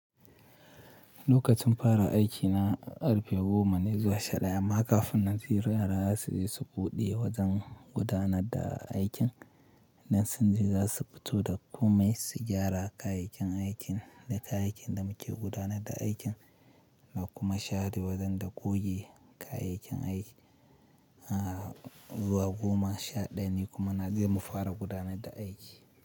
Lokacin fara aiki na karfe goma ne zuwa sha daya. Amma kafun nan ziyaraya za su je su buɗe wajen gudanar da aikin, in sun je za su fito da komai su gyara kayayyakin aikin da kayayyakin da muke gudanar da aikin da kuma share wajen da kogi kayayyakin aiki. Zuwa goma sha daya ne kuma na zama fara gudanar da aiki.